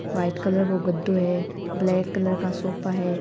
White colour को गद्दो है ब्लैक कलर का सोफा है।